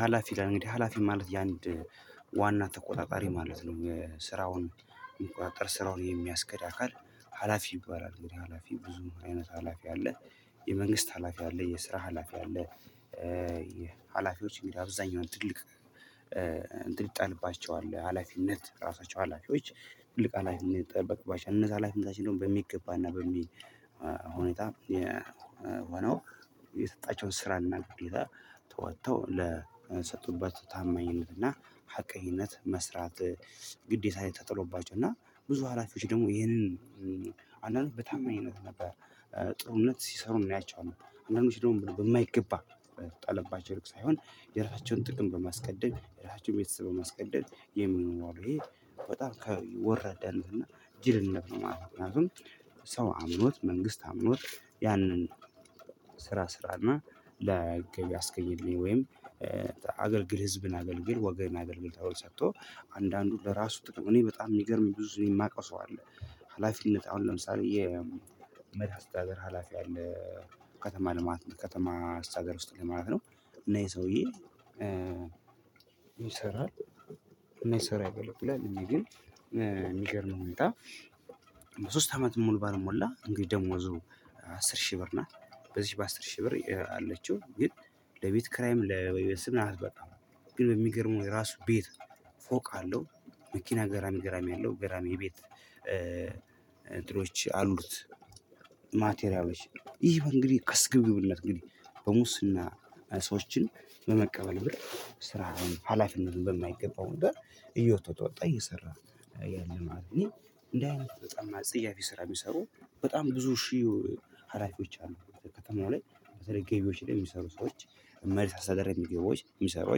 ሀላፊ ይላል እንግዲህ ሀላፊ ማለት የአንድ ዋና ተቆጣጣሪ ማለት ነው። ስራውን የሚቆጠር ስራውን የሚያስገድ አካል ሀላፊ ይባላል። ግን ሀላፊ ብዙ አይነት ሀላፊ አለ። የመንግስት ሀላፊ አለ የስራ ሀላፊ አለ። ሀላፊዎች የሚል አብዛኛው ትልቅ እንትን ይጣልባቸው ሀላፊነት ራሳቸው ሀላፊዎች ትልቅ ሀላፊነት ይጠበቅባቸዋል። እነዛ ሀላፊነታችን ደግሞ በሚገባና በሚል ሁኔታ የሆነው የሰጣቸውን ስራና ቅድሚያ ተወጥተው ለሰጡበት ታማኝነትና ሀቀህነት መስራት። ግዴታ ላይ ተጥሎባቸው እና ብዙ አላፊወች ደግሞ ይሄንን አንዳንድ በታማኝነት ነበር ጥሩነት ሲሰሩ እናያቸዋለን። አንዳንዶች ደግሞ ብሎ በማይገባ የተጣለባቸው ሳይሆን የራሳቸውን ጥቅም በማስቀደም የራሳቸውን ቤተሰብ በማስቀደም የሚሆኑ አሉ። ይሄ በጣም ከወረዳነት እና ጅልነት ነው ማለት ነው። ነው ሰው አምኖት መንግስት አምኖት ያንን ስራ እና ላይ አስገኘኝ። ወይም ህዝብን አገልግል ወገን አገልግል ታውቆ ሰጥቶ አንዳንዱ ለራሱ ጥቅም እኔ በጣም የሚገርም ብዙ የማውቀው ሰው አለ። ሀላፊነት አሁን ለምሳሌ የመድሃኒት አስተሃገር ሀላፊ አለ። ከተማ ልማት ከተማ አስተዳደር ውስጥ ላይ ማለት ነው እና ይሄ ሰውዬ ይሰራል እየሰራ ያገለግላል። እንግዲህ ሁኔታ ሶስት አመት ሙሉ ባልሞላ እንግዲህ ደሞዙ አስር ሺህ ብር ነው። በዚህ በአስር ሺህ ብር አለችው ግን ለቤት ክራይም ለቤት ስም አላስበጣም። ግን በሚገርመው የራሱ ቤት ፎቅ አለው። መኪና ግራሚ ግራሚ አለው ግራሚ ቤት እንትኖች አሉት። ማቴሪያሎች ይሄ እንግዲህ ከስግብግብነት እንግዲህ በሙስና ሰዎችን በመቀበል ብር ስራህን ሀላፊነትን በማይገባው እንደ እየተወጣ እየሰራ ያለ ማለት ነው። እኔ እንዲህአይነት በጣም ጸያፊ ስራ የሚሰሩ በጣም ብዙ ሺህ ሀላፊዎች አሉ። ከከተማው ላይ በተለይ ገቢዎች ላይ የሚሰሩ ሰዎች መሪ ሳሳደር የሚገቡ ገቢዎች የሚሰሩ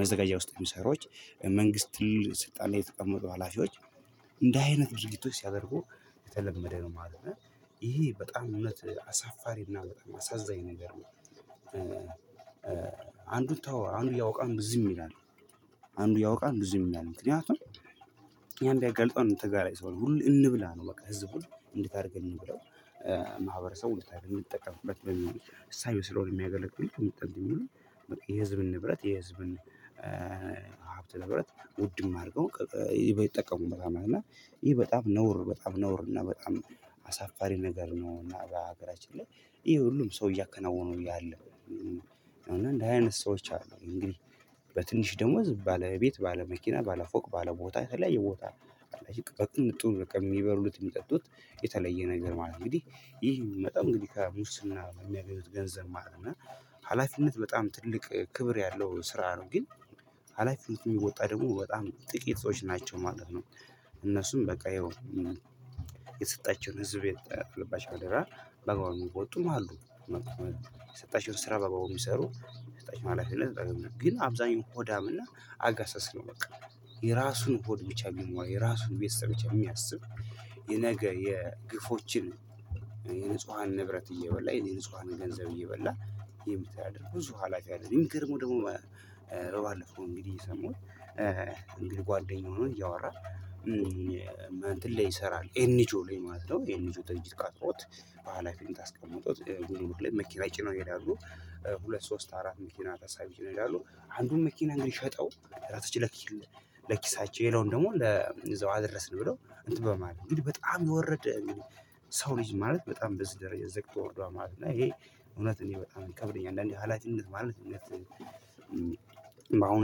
መዘጋጃ ውስጥ ሚሰሩ መንግስት ስልጣን የተቀመጡ ሀላፊዎች እንደ አይነት ድርጊቶች ሲያደርጉ የተለመደ ነው። ማለት ይሄ በጣም እውነት አሳፋሪ እና አሳዛኝ ነገር ነው። አንዱን ተወው አንዱ እያወቀ ዝም ይላል። አንዱ ያእያወቀ ዙም ይላል ምክንያቱም። ያንቢያጋልጠው አንዱም ተጋራይ ሰው ነው ሁል እንብላ ነው። በቃ ህዝቡን እንድታደርገን እንብለው። ውድታዊ የሚጠቀምበት ሳይሆን የሚያገለግሉኝ የሚጠብቁኝ የሚሉ የህዝብን ንብረት የህዝብን ሀብት ንብረት ውድም አድርገው ይጠቀሙበታል። እና ይሄ በጣም ነውር በጣም ነውር እና በጣም አሳፋሪ ነገር ነው። እና በሀገራችን ላይ ይሄ ሁሉም ሰው እያከናወኑ እያለ ነው እና እንደዚህ አይነት ሰዎች አሉ። እንግዲህ በትንሽ ደመወዝ ባለቤት ባለመኪና ባለፎቅ ባለቦታ የተለያየ ቦታ በቅንጡ የሚበሉት የሚጠጡት የተለየ ነገር ማለት ነው። እንግዲህ ይህ የሚመጣው እንግዲህ ከሙስና በሚያገኙት ገንዘብ ማለት ነው። እና ሀላፊነት በጣም ትልቅ ክብር ያለው ስራ ነው። ግን አላላፊነቱን የሚወጣ ደግሞ በጣም ጥቂቶች ናቸው ማለት ነው። እነሱም በቃ የተሰጣቸውን ህዝብ የተጣለባቸውን አደራ በአግባቡ እሚወጡም አሉ። የሰጣቸውን ስራ በአግባቡ የሚሰሩ የተሰጣቸውን ላፊነት ግን አብዛኛው ሆዳም እና አጋሰስ ነው። በቃ የራሱን ሆድ ብቻ የራሱን ቤተሰብ ብቻ የሚያስብ የነገ የግፎችን የንጹሃን ንብረት እየበላ የንጹሃን ገንዘብ እየበላ የሚተዳደር ብዙ ሀላፊ አለ። የሚገርመው ደግሞ ባአለፈው እንግዲህ የሰማሁት ጓደኛውን እያወራ እንትን ላይ ይሰራል ኤንጂኦ ላይ ማለት ነው። ኤንጂኦ ድርጀት ቀጥሮት በሃላፊን ታስቀምጦት ጉምሩክ ላይ መኪና ጭነው ይሄዳሉ። ሁለት ሶስት አራት መኪና ታሳቢ ጭነው ይሄዳሉ አንዱን መኪና እንግዲህ ሸጠው ለኪሳቸው ሌላውን ደግሞ ለእዛው አደረስን ብለው እንትን በማለት እንግዲህ በጣም የወረደ። ሰው ልጅ ማለት በጣም በዚህ ደረጃ የዘቅጦ ሄዱአል ማለት ነው። እና ይሄ እውነት እኔ በጣም ቀብረኝ አንዳንዴ አላጭነት ማለት። አሁኑ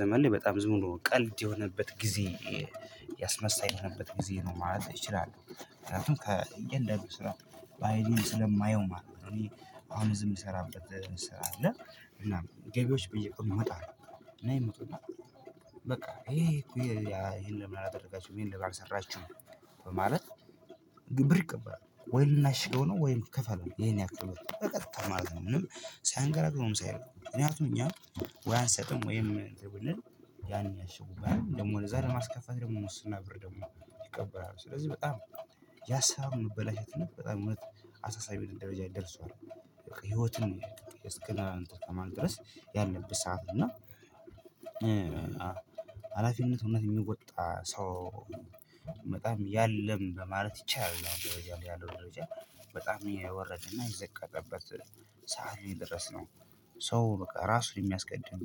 ዘመን ላይ በጣም ዝም ብሎ ቀልድ የሆነበት ጊዜ የሆነበት ጊዜ ነው ማለት ይችላለው። ምክንያቱም ከ እያንዳንዱን ስራ ባይኔ ስለማየው ማለት ነው። እኔ አሁን ዝም የምሰራበት ስራ እንሰራለን። እና ገቢዎች ብዬ ቀኑ ይመጣሉ። እና ይመጡና ይሄ ይሄን ለምን አላደረጋችሁም? ይሄን እንደጋር ሰራችሁ በማለት ብር ይቀበላሉ። ወይ ልናሽገው ነው? ወይም ከፈለን ይሄን ያክል ብር በቀጥታ ማለት ነው። ምንም ሳያንገራግሩም ሳይሆን ምክንያቱም አሁን እኛ ወይ አልሰጥም ወይ ያን ያሽጉብሀል ደሞ ለዛ ለማስከፈት ደግሞ ሙስና ብር ደግሞ ይቀበላሉ። ስለዚህ በጣም ያሰራሩ መበላሸት በጣም አሳሳቢ እንደበጀ እንደርሷል። በቃ ህይወትን እስከማን ድረስ ያለብህ ሳህፍ እና ሀላፊነት እውነት የሚወጣ ሰው በጣም የለም ለማለት ይቻላል። ደረጃ ላይ ያለው ደረጃ በጣም የወረደና የዘቀጠበት ሰዓት ነው የደረስነው። ሰው በቃ ራሱን የሚያስቀድም